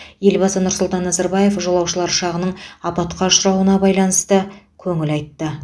елбасы нұр сұлтан назарбаев жолаушылар ұшағының апатқа ұшырауына байланысты көңіл айтты